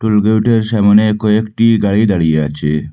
টোলগেটের সামনে কয়েকটি গাড়ি দাড়িয়ে আছে।